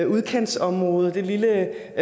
udkantsområde det lille